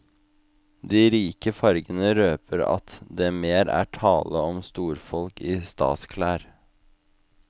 De rike fargene røper at det mer er tale om storfolk i stasklær.